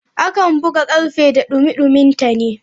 A kan buga karfe da dumi duminta ne.